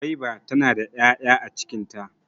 Gwaiba tana da 'ya'ya a cikin ta.